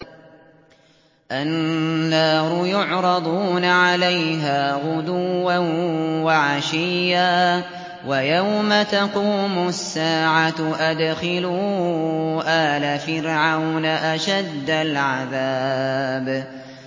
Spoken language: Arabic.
النَّارُ يُعْرَضُونَ عَلَيْهَا غُدُوًّا وَعَشِيًّا ۖ وَيَوْمَ تَقُومُ السَّاعَةُ أَدْخِلُوا آلَ فِرْعَوْنَ أَشَدَّ الْعَذَابِ